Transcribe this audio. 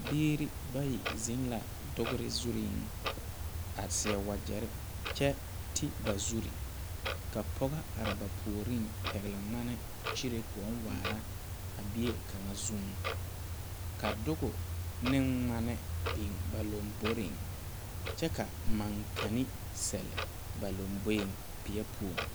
Biiri bayi zeŋ la dogre zureŋ a seɛ wagyɛre kyɛ ti ba zure ka pɔge are ba puoriŋ pɛgle ŋmane kyire koɔ waara a bie kaŋa zuŋ ka doge ne ŋmane biŋ ba lomboreŋ kyɛ ka mankene sɛlle ba lomboeŋ peɛ poɔŋ.